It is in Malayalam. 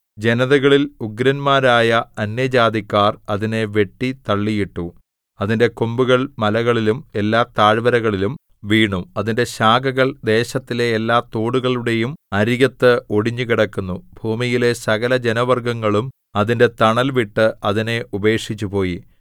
ജനതകളിൽ ഉഗ്രന്മാരായ അന്യജാതിക്കാർ അതിനെ വെട്ടി തള്ളിയിട്ടു അതിന്റെ കൊമ്പുകൾ മലകളിലും എല്ലാ താഴ്വരകളിലും വീണു അതിന്റെ ശാഖകൾ ദേശത്തിലെ എല്ലാതോടുകളുടെയും അരികത്ത് ഒടിഞ്ഞു കിടക്കുന്നു ഭൂമിയിലെ സകലജനവർഗ്ഗങ്ങളും അതിന്റെ തണൽ വിട്ട് അതിനെ ഉപേക്ഷിച്ചുപോയി